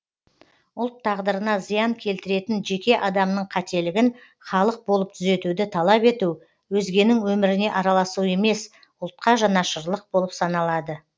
ұлт тағдырына зиян келтіретін жеке адамның қателігін халық болып түзетуді талап ету өзгенің өміріне араласу емес ұлтқа жанашырлық болып саналады